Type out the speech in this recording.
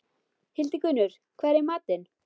Hildigunnur, hvað er í matinn?